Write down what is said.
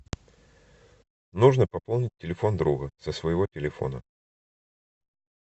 нужно пополнить телефон друга со своего телефона